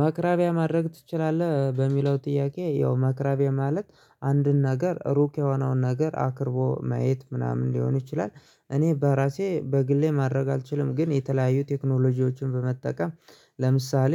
ማቅረቢያ ማድረግ ትችላለህ በሚለው ጥያቄ ያው ማቅረቢያ ማለት አንድን ነገር ሩቅ የሆነውን ነገር አቅርቦ ማየት ምናምን ሊሆኑ ይችላል እኔ በራሴ በግሌ ማድረግ አልችልም። ግን የተለያዩ ቴክኖሎጂዎችን በመጠቀም ለምሳሌ